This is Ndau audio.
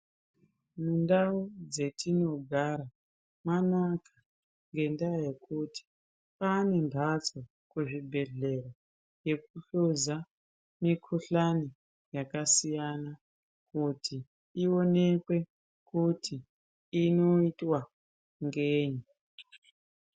Mundau dzetinogara mwanaka, ngendaa yekuti kwaane mphatso kuzvibhedhlera ,yekuhluza mikhuhlani yakasiyana, kuti ionekwe kuti inoitwa ngeyi.